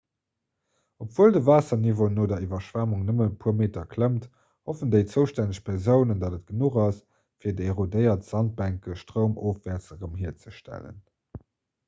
obwuel de waasserniveau no der iwwerschwemmung nëmmen e puer meter klëmmt hoffen déi zoustänneg persounen datt et genuch ass fir déi erodéiert sandbänke stroumofwäerts erëm hierzestellen